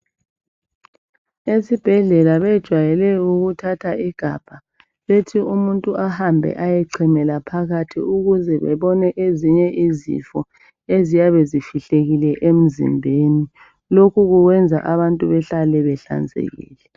Esibhedlela bejwayele ukuthatha igabha bethi umuntu ahambe ayochamela phakathi ukuze babone ezinye izifo eziyabe zifihlekile emzimbeni. Lokhu kuyenza abantu behlale behlanzekile.